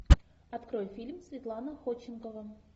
открой фильм светлана ходченкова